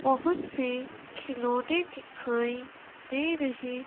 बहुत से खिलौने दिखाएं दे रहे--